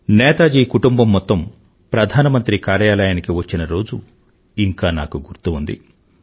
నేతాజీ కుటుంబం మొత్తం ప్రధానమంత్రి కార్యాలయానికి వచ్చిన రోజు ఇంకా నాకు గుర్తు ఉంది